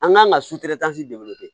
An kan ka de wele ten